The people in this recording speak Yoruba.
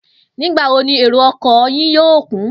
Nígbà wo ni èrò o̩kò̩ yìí yóò kún?